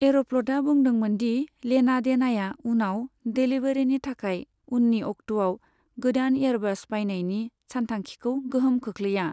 एर'फ्लतआ बुंदोंमोन दि लेना देनाया उनाव डिलीबरिनि थाखाय उननि अक्ट'आव गोदान एयरबस बायनायनि सानथांखिखौ गोहोम खोख्लैया।